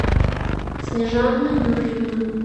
снежана юрьевна